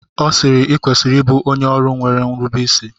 Ọ sịịrị, i kwesịrị ịbụ onye ọrụ nwere nrubeisi!